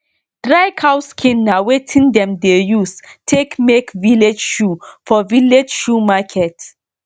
dry cow skin na wetin dem dey use take make village shoe for village shoe market